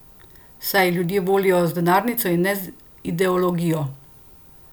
Saj ljudje volijo z denarnico in ne z ideologijo!